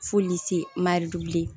Foli se maridu li ye